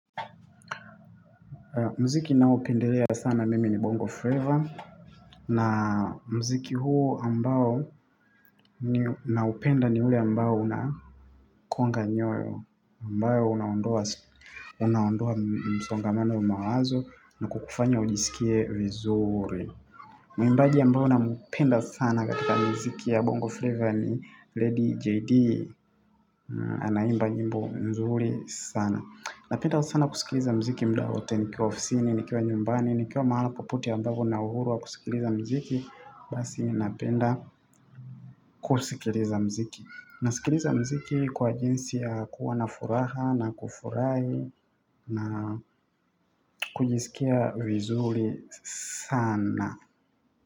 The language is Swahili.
Mziki naopendelea sana mimi ni Bongo Flavor. Na mziki huu ambao naupenda ni ule ambao una konga nyoyo ambayo unaondoa msongamano wa mawazo na kukufanya ujisikie vizuri. Mwimbaji ambao nampenda sana katika mziki ya Bongo Flavor ni Lady JD. Anaimba nyimbo mzuri sana. Napenda sana kusikiliza mziki muda wowote nikiwa ofisini, nikiwa nyumbani, nikiwa mahala popote ambavo na uhuru wa kusikiliza mziki. Basi ninapenda kusikiliza mziki. Nasikiliza mziki kwa jinsi ya kuwa na furaha na kufurahi na kujisikia vizuri sana.